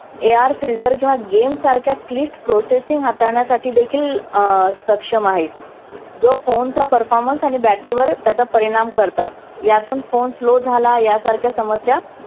AR filter किंवा game सारख्या क्लिष्ट processing हाताळण्यासाठीदेखील अं सक्षम आहे. जो phone चा performance आणि battery वर त्याचा परिणाम करतात. यातून phone slow झाला यासारख्या समस्या